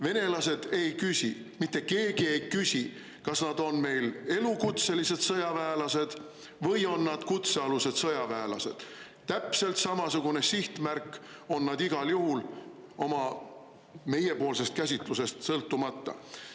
Venelased ei küsi, mitte keegi ei küsi, kas nad on meil elukutselised sõjaväelased või on nad kutsealused sõjaväelased, täpselt samasugune sihtmärk on nad igal juhul, meiepoolsest käsitlusest sõltumata.